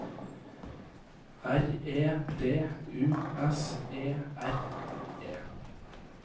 R E D U S E R E